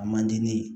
A man di ne ye